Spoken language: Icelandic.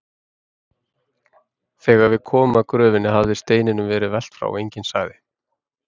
Þegar við komum að gröfinni hafði steininum verið velt frá og enginn sagði